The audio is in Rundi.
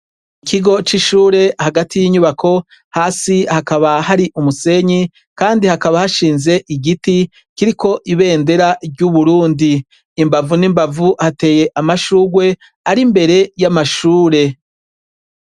Ikigo c'ishure hagati y'inyubako hasi hakaba hari umusenyi, kandi hakaba hashinze igiti kiriko ibendera ry'uburundi imbavu n'imbavu hateye amashurwe ari imbere y'amashure.